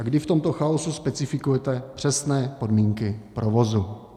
A kdy v tomto chaosu specifikujete přesné podmínky provozu?